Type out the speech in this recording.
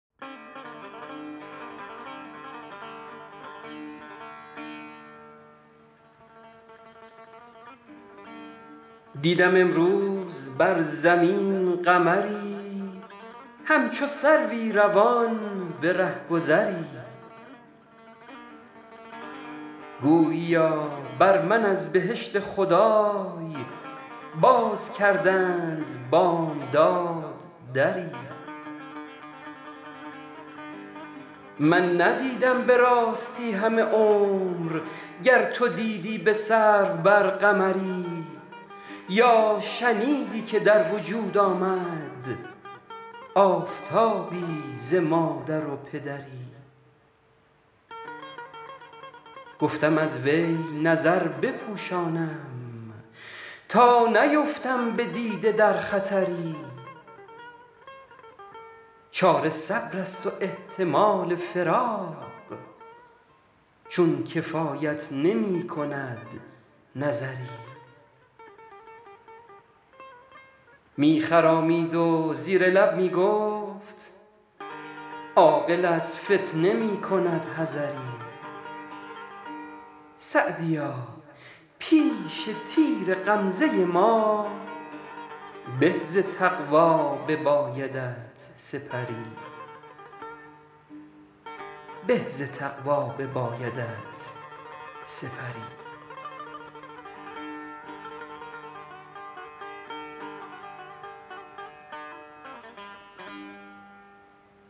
دیدم امروز بر زمین قمری همچو سروی روان به رهگذری گوییا بر من از بهشت خدای باز کردند بامداد دری من ندیدم به راستی همه عمر گر تو دیدی به سرو بر قمری یا شنیدی که در وجود آمد آفتابی ز مادر و پدری گفتم از وی نظر بپوشانم تا نیفتم به دیده در خطری چاره صبر است و احتمال فراق چون کفایت نمی کند نظری می خرامید و زیر لب می گفت عاقل از فتنه می کند حذری سعدیا پیش تیر غمزه ما به ز تقوا ببایدت سپری